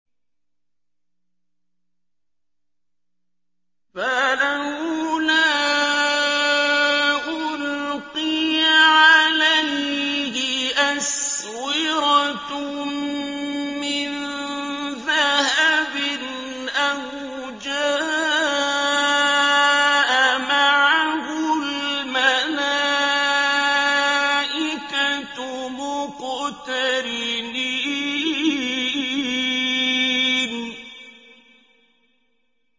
فَلَوْلَا أُلْقِيَ عَلَيْهِ أَسْوِرَةٌ مِّن ذَهَبٍ أَوْ جَاءَ مَعَهُ الْمَلَائِكَةُ مُقْتَرِنِينَ